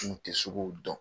N kun tɛ suguw dɔn.